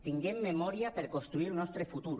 tinguem memòria per construir el nostre futur